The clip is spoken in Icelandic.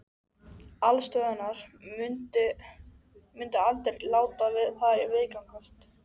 Aðalstöðvarnar myndu aldrei láta það viðgangast.